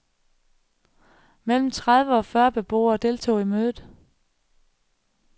Mellem tredive og fyrre beboere deltog i mødet.